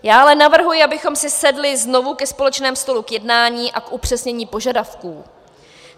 Já ale navrhuji, abychom si sedli znovu ke společnému stolu k jednání a k upřesnění požadavků.